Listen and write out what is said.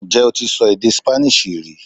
Ǹjẹ́ o ti sọ èdè Spanish rí